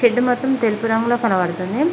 Shed మాత్రం తెలుపు రంగులో కనపడుతుంది.